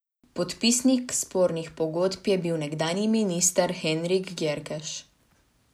Podpisnik spornih pogodb je bil nekdanji minister Henrik Gjerkeš.